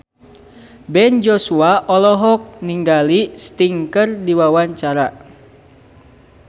Ben Joshua olohok ningali Sting keur diwawancara